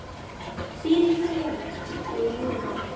Hvíl í friði, mín ljúfa.